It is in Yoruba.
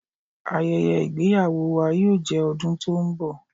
Àyèyè igbèyàwó wà yóò jẹ́ ọdún tó nbọ̀.